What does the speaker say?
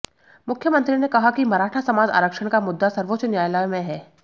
मुख्यमंत्री ने कहा कि मराठा समाज आरक्षण का मुद्दा सर्वोच्च न्यायालय में है